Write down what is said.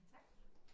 Tak